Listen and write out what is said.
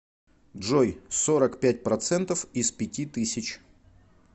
джой сорок пять процентов из пяти тысяч